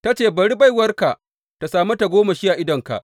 Ta ce, bari baiwarka tă sami tagomashi a idonka.